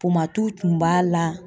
tun b'a la.